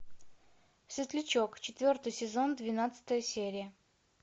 светлячок четвертый сезон двенадцатая серия